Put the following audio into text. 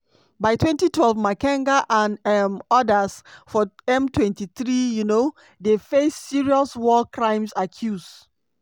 by 2012 makenga and um odas for m23 um dey face serious war crimes accuse.